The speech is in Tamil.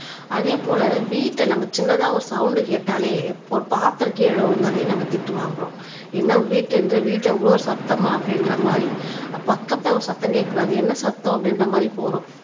அதே போல வீட்டை நம்ம சின்னதா ஒரு சவுண்ட் கேட்டாலே பாத்திரம் கீழே விழுந்தாலே நம்ம திட்டு வாங்குறோம் ஏன்னா வீட்டை இவ்ளோ சத்தமா அப்படின்ற மாதிரி பக்கத்துல சத்தம் கேட்கக் கூடாது என்ன சத்தம் அப்படின்ற மாதிரி போறோம்